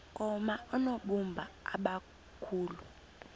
koma oonobumba abakhulu